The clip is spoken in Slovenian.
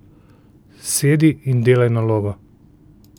Sedi in delaj nalogo.